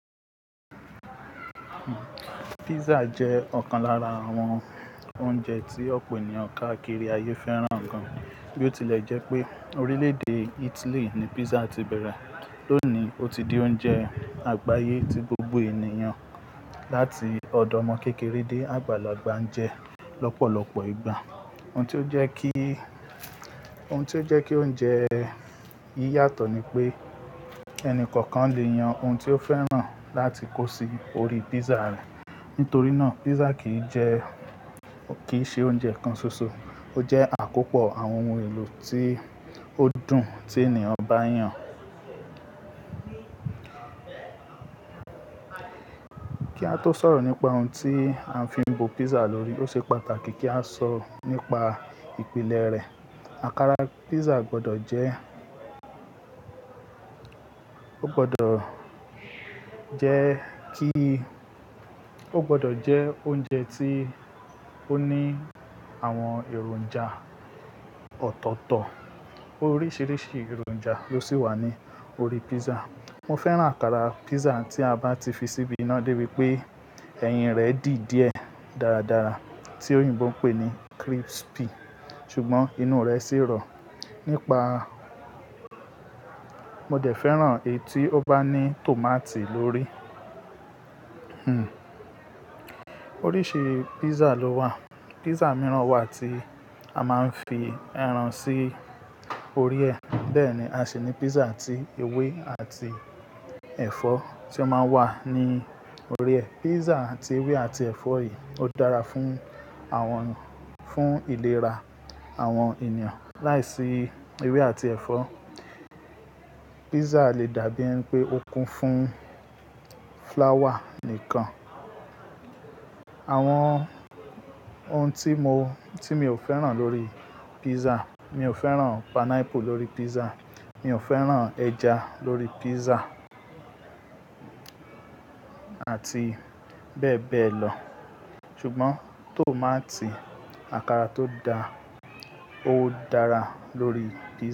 Pizza jẹ́ ọ̀kan lára àwọn oúnjẹ tí ọ̀pọ̀ ènìyàn káàkiri ayé fẹ́ràn gan. Bí ó tilẹ̀ jẹ́ pé orílẹ̀ èdè Italy ni pizza ti bẹ̀rẹ̀, lónìí ó ti di oúnjẹ àgbáyé tí gbogbo ènìyàn láti ọ̀dọ́ ọmọ kékeré dé àgbàlagbà ń jẹ lọ́pọ̀lọpọ̀ ìgbà. Ohun tí ó jẹ́ kí, ohun tí ó jẹ́ kí oúnjẹ yìí yàtọ̀ ni pé ẹni kọ̀ọ̀kan lè yan ohun tí ó fẹ́ràn láti kó sí orí pizza rẹ̀. Nítorí náà pizza kì í jẹ́, kì í ṣe oúnjẹ kan ṣoṣo, ó jẹ́ àkópọ̀ àwọn ohun èlò tí ó dùn tí ènìyàn bá yàn. Kí á tó sọ̀rọ̀ nípa ohun tí a fi ń bo pizza lórí, ó ṣe pàtàkì kí a sọ̀rọ̀ nípa ìpìlẹ̀ rẹ̀. Àkàrà pizza gbọdọ̀ jẹ́, ó gbọdọ̀ jẹ́ kí, ó gbọdọ̀ jẹ́ oúnjẹ tí ó ní àwọn èròjà ọ̀tọ̀ọ̀tọ̀. Oríṣiríṣi èròjà ló sì wà ní orí pizza. Mo fẹ́ràn àkàrà pizza tí a bá ti fi síbi iná dé bí pé eyín rẹ̀ dì díẹ̀ dáradára tí òyìnbó ń pè ní crispy, ṣùgbọ́n inú rẹ̀ sì rọ̀. Nípa, mo dẹ̀ fẹ́ràn èyí tí ó bá ní tòmátì lóri. Oríṣi pizza ló wà. Pizza mìíràn wà tí a máa ń fi ẹran sí orí ẹ̀. Bẹ́ẹ̀ ni a sì ní pizza tí ewé àti ẹ̀fọ́ tí ó máa ń wà ní orí ẹ̀. Pizza tí ewé àti ẹ̀fọ́ yìí ó dára fún àwọn, fún ìlera àwọn ènìyàn. Láìsí ewé àti ẹ̀fọ́, pizza lè dàbí ẹni pé ó kún fún flower nìkan. Àwọn ohun tí mo, tí mi ò fẹ́ràn lórí pizza, mi ò fẹ́ràn pineapple lórí pizza, mi ò fẹ́ràn ẹja lórí pizza àti bẹ́ẹ̀ bẹ́ẹ̀ lọ. Ṣùgbọ́n tòmátì, àkàrà tó da, ó dára lórí pizza.